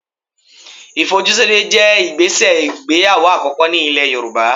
Ìfojúsóde jẹ́ ìgbésẹ̀ ìgbéyàwó àkọ́kọ́ nílẹ̀ Yorùbá